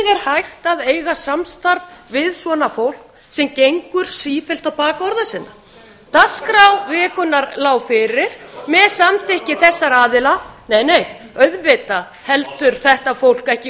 hægt að eiga samstarf við svona fólk sem gengur sífellt á bak orða sinna dagskrá vikunnar lá fyrir með samþykki þessara aðila nei nei auðvitað heldur þetta fólk ekki